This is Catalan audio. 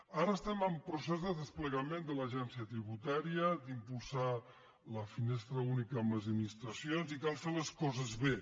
ara estem en procés de desplegament de l’agència tri·butària d’impulsar la finestra única amb les adminis·tracions i cal fer les coses bé